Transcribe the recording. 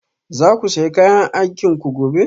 Za ku sa kayan aikinku gobe?